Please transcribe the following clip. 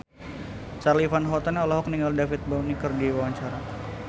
Charly Van Houten olohok ningali David Bowie keur diwawancara